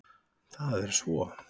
Það er svo.